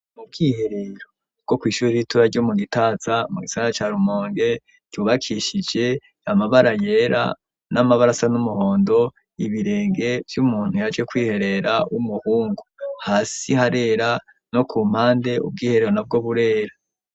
Mu bwiherero bwo kw'ishuri ritoya ryo mu Gitaza mu gisara ca Rumonge ryubakishije amabara yera n'amabara asa n'umuhondo, ibirenge vy'umuntu yaje kwiherera w'umuhungu, hasi harera no ku mpande ubwiherero na bwo burera.